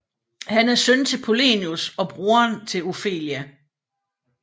Han er søn til Polonius og broderen til Ofelia